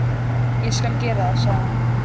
Ég skal gera það, sagði hann.